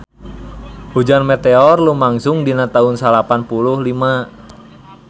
Hujan meteor lumangsung dina taun salapan puluh lima